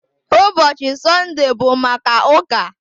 Ụbọchị Sọnde bụ maka ụka